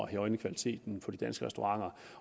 at højne kvaliteten på de danske restauranter